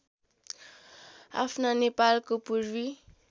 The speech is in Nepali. आफ्ना नेपालको पूर्वी